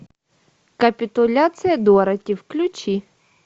капитуляция дороти включи